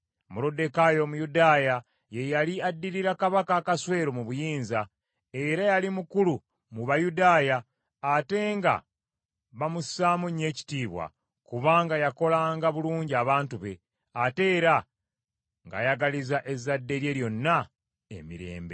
Moluddekaayi Omuyudaaya ye yali addirira Kabaka Akaswero mu buyinza, era yali mukulu mu Bayudaaya ate nga bamussaamu nnyo ekitiibwa, kubanga yakolanga bulungi abantu be, ate era ng’ayagaliza ezzadde lye lyonna emirembe.